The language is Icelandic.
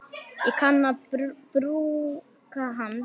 Ég kann að brúka hann.